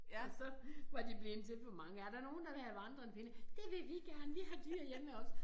Og så var de blevet til for mange er der nogen der vil have vandrende pinde det vil vi gerne vi har dyr hjemme ved os